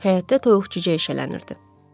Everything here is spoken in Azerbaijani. Həyətdə toyuq-cücə eşələnirdi.